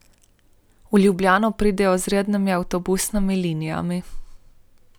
V Ljubljano pridejo z rednimi avtobusnimi linijami.